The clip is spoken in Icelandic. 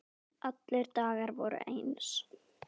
Allir dagar voru eins.